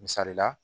Misali la